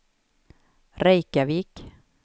Reykjavik